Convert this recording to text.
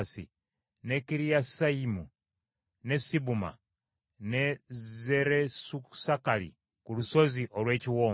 ne Kiriyasayimu, ne Sibuma, ne Zeresusakali ku lusozi olw’Ekiwonvu,